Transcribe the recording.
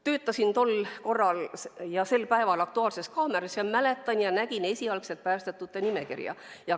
Töötasin tol ajal ja sel päeval "Aktuaalses kaameras" ja mäletan, et nägin esialgset päästetute nimekirja.